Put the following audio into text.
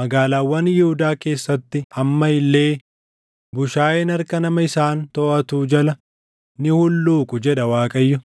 magaalaawwan Yihuudaa keessatti amma illee bushaayeen harka nama isaan toʼatuu jala ni hulluuqu’ jedha Waaqayyo.